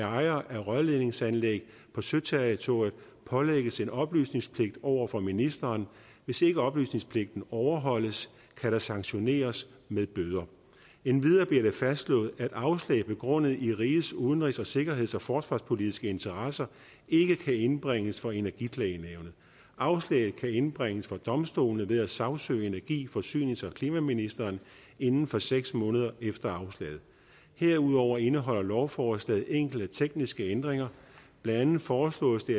ejere af rørledningsanlæg på søterritoriet pålægges en oplysningspligt over for ministeren hvis ikke oplysningspligten overholdes kan der sanktioneres med bøder endvidere bliver det fastslået at afslag begrundet i rigets udenrigs sikkerheds og forsvarspolitiske interesser ikke kan indbringes for energiklagenævnet afslag kan indbringes for domstolene ved at sagsøge energi forsynings og klimaministeren inden for seks måneder efter afslag herudover indeholder lovforslaget enkelte tekniske ændringer blandt andet foreslås det